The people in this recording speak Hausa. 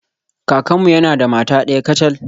Kakanmu yana da mata daya kacal.